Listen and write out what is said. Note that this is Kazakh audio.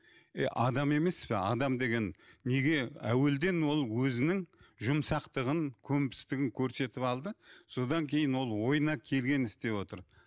ей адам емес пе адам деген неге әуелден ол өзінің жұмсақтағын көнбістігін көрсетіп алды содан кейін ол ойына келгенін істеп отыр